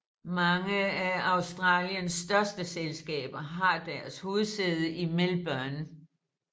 Mange af Australiens største selskaber har deres hovedsæde i Melbourne